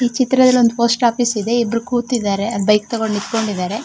ಈ ಚಿತ್ರದಲ್ಲಿ ಒಂದು ಪೋಸ್ಟ್ ಆಫೀಸ್ ಇದೆ ಇಬ್ರು ಕುತಿದರೆ ಅಲ್ಲಿ ಬೈಕ್ ತೊಕೊಂಡ ನಿತ್ತಕೊಂಡಿದರೆ .